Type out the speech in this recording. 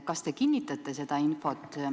Kas te kinnitate seda infot?